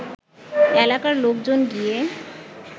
এলাকার লোকজন গিয়ে